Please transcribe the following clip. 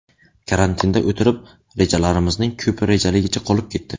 Karantinda o‘tirib, rejalarimizning ko‘pi rejaligicha qolib ketdi.